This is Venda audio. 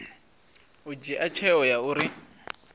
u dzhia tsheo ya uri